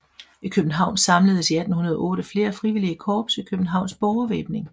I København samledes i 1808 flere frivillige korps i Københavns Borgervæbning